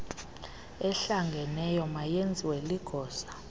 ehlangeneyo mayenziwe ligosa